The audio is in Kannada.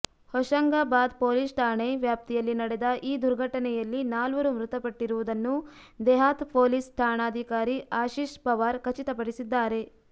ಹೊಷಂಗಾಬಾದ್ ಪೊಲೀಸ್ ಠಾಣೆ ವ್ಯಾಪ್ತಿಯಲ್ಲಿ ನಡೆದ ಈ ದುರ್ಘಟನೆಯಲ್ಲಿ ನಾಲ್ವರು ಮೃತಪಟ್ಟಿರುವುದನ್ನು ದೆಹಾತ್ ಪೊಲೀಸ್ ಠಾಣಾಧಿಕಾರಿ ಆಶೀಶ್ ಪವಾರ್ ಖಚಿತಪಡಿಸಿದ್ದಾರೆ